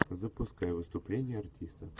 запускай выступление артиста